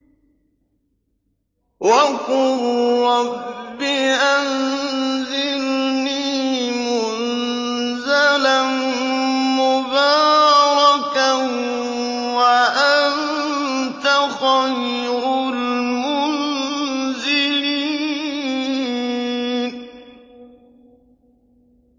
وَقُل رَّبِّ أَنزِلْنِي مُنزَلًا مُّبَارَكًا وَأَنتَ خَيْرُ الْمُنزِلِينَ